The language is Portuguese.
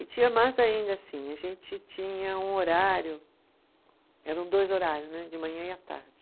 E tinha mais ainda assim, a gente tinha um horário, eram dois horários né, de manhã e à tarde.